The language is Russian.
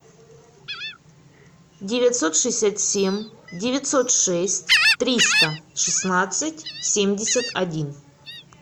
девятьсот шестьдесят семь девятьсот шесть триста шестнадцать семьдесят один